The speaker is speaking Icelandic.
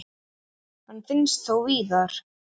Hann finnst þó víðar.